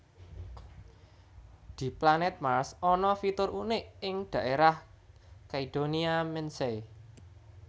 Di planèt Mars ana fitur unik ing dhaérah Cydonia Mensae